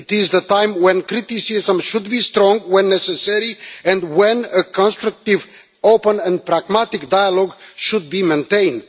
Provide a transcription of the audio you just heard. It is the time when criticism should be strong when necessary and when a constructive, open and pragmatic dialogue should be maintained.